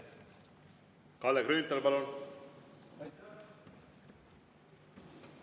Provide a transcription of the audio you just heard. Kalle Grünthal, palun!